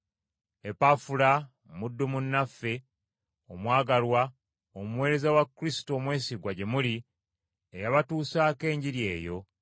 Epafula muddu munnaffe omwagalwa omuweereza wa Kristo omwesigwa gye muli, eyabatuusaako Enjiri eyo,